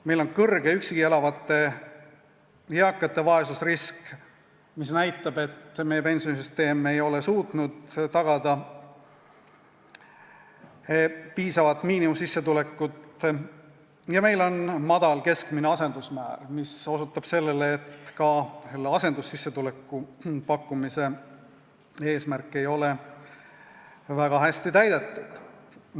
Meie üksi elavate eakate vaesusrisk on kõrge, mis näitab seda, et meie pensionisüsteem ei ole suutnud tagada piisavat miinimumsissetulekut, ja meil on madal keskmine asendusmäär, mis osutab sellele, et ka asendussissetuleku pakkumise eesmärk ei ole väga hästi täidetud.